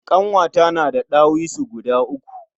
Ƙanwata na da ɗawisu guda uku.